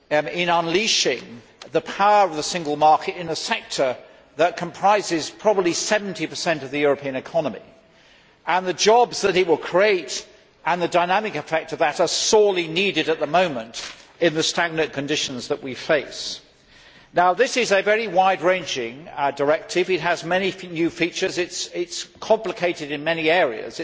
In unleashing the power of the single market in a sector that comprises probably 70 of the European economy, the jobs that it will create, and the dynamic effect of that, are sorely needed at the moment in the stagnant conditions that we face. This is a very wide ranging directive. It has many new features. It is complicated in many areas.